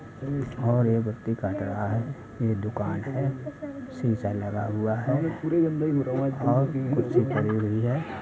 और ये व्यक्ति काट रहा है ये दुकान है शीशा लगा हुआ है और कुर्सी पड़ी हुई है।